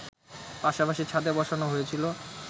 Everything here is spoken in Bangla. পাশাপাশি ছাদে বসানো হয়েছিল